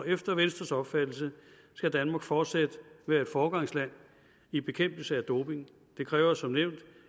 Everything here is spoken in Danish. efter venstres opfattelse skal danmark fortsat være et foregangsland i bekæmpelse af doping det kræver som nævnt